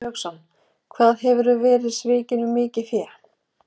Haukur Hauksson: Hvað hefurðu verið svikinn um mikið fé?